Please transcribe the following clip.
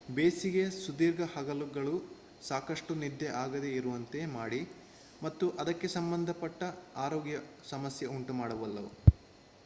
ಬೇಸಿಗೆಯ ಸುದೀರ್ಘ ಹಗಲುಗಳು ಸಾಕಷ್ಟು ನಿದ್ದೆ ಆಗದೆ ಇರುವಂತೆ ಮಾಡಿ ಮತ್ತು ಅದಕ್ಕೆ ಸಂಬಂಧ ಪಟ್ಟ ಆರೋಗ್ಯ ಸಮಸ್ಯೆ ಉಂಟು ಮಾಡಬಲ್ಲವು